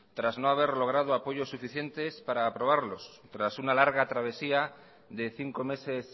tras no haber logrado apoyos suficientes para aprobarlos tras una larga travesía de cinco meses